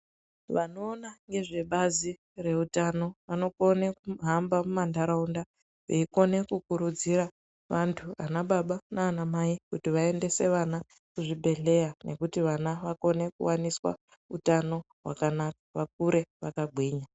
Vanoona ngezvebazi reutano vanokone kuhamba mumantaraunda veikone kukurudzira vantu anababa nanamai kuti vaendese vana kuzvibhedhleya nekuti vana vakoneswe kuwaniswa utano hwakanaka vakure vakagwinya.